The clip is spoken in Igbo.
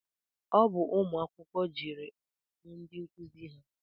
Ọ bụ ụmụ akwụkwọ jeere hụ ndị nkụzi ha